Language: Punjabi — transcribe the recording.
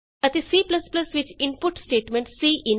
ਅਤੇ C ਵਿਚ ਇਨਪੁਟ ਸਟੇਟਮੈਂਟ ਸੀਇਨ ਹੈ